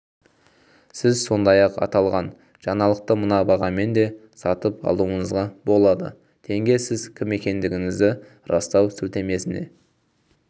сіз сондай-ақ аталған жаңалықты мына бағамен де сатып алуыңызға болады тенге сіз кім екендігіңізді растау сілтемесіне